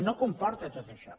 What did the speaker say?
no comporta tot això